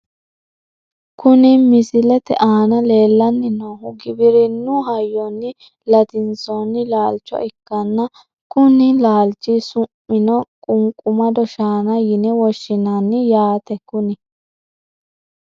Kuni misilete aana leellanni noohu giwirinnu hayyonni latinsoonni laalcho ikkanna, konni laalchi su'mino qunqumado shaana yine woshshinani yaate kuni .